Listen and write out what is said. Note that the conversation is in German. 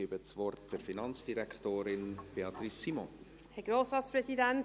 Ich gebe Finanzdirektorin Beatrice Simon das Wort.